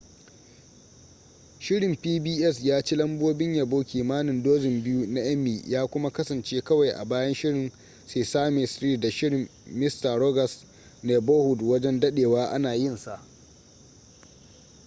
shirin pbs ya ci lambobin yabo kimanin dozin biyu na emmy ya kuma kasance kawai a bayan shirin sesame street da shirin mister rogers neighborhood wajen dadewa ana yinsa